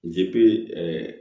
Zipe